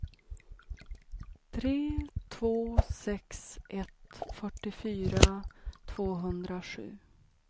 tre två sex ett fyrtiofyra tvåhundrasju